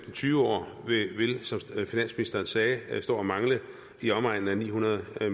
tyve år som finansministeren sagde vil stå og mangle i omegnen af ni hundrede